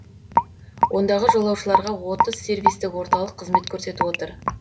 ондағы жолаушыларға отыз сервистік орталық қызмет көрсетіп отыр